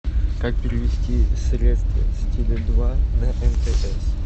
как перевести средства с теле два на мтс